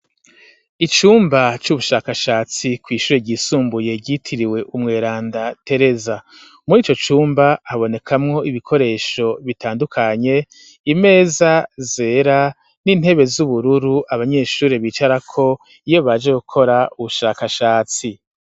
Icumba c'ubushakashatsi ku ishure ry'isumbuye ryitiriwe umweranda Tereza muri ico cumba habonekamwo ibikoresho bitandukanye imeza zera n'intebe z'ubururu abanyeshuri bicara ko iyo baje gukora ubushakashatsi.